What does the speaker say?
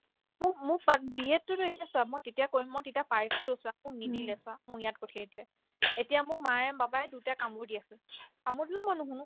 মোক মোক but BED তোতো এতিয়া চা মই তেতিয়া কৰিম মই তেতিয়া পাইছিলোও চোৱা মোক নিদিলে চোৱা মোক ইয়াত পঠিয়াই দিলে এতিয়া মোক মায়ে papa ই দুইটাই মোক কামোৰ দি আছে কামোৰ দিলেও মই নুশুনো